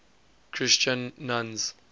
christian nuns